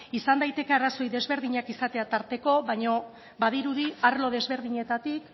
izan daiteke arrazoi ezberdinak izatea tarteko baina badirudi arlo ezberdinetatik